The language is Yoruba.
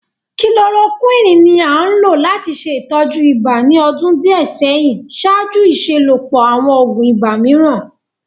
kilorokuini ni a n lo lati ṣe itọju iba ni ọdun diẹ sẹhin ṣaaju iṣelọpọ awọn oogun ibà miiran.